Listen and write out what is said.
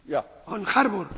Herr Präsident!